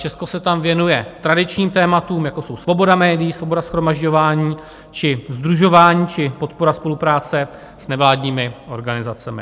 Česko se tam věnuje tradičním tématům, jako jsou svoboda médií, svoboda shromažďování či sdružování či podpora spolupráce s nevládními organizacemi.